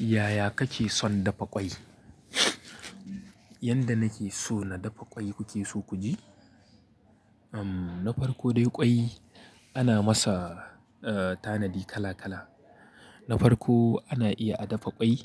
Yaya kake son dafa ƙwai? Yanda nake so na dafa ƙwai kuke so ku ji? Uhm, na farko dai ƙwai ana masa, eh, tanadi kala kala. Na farko ana iya a dafa ƙwai